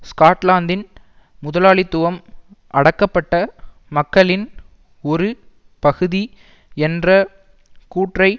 ஸ்காட்லாந்தின் முதலாளித்துவம் அடக்கப்பட்ட மக்களின் ஒரு பகுதி என்ற கூற்றை